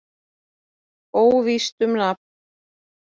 Óvíst um nafn.